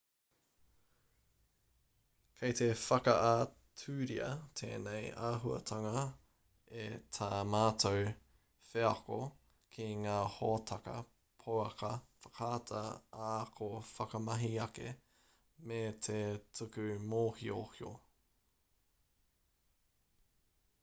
kei te whakaaturia tēnei āhuatanga e tā mātou wheako ki ngā hōtaka pouaka whakaata ā-ako whakamahi-ake me te tuku mōhiohio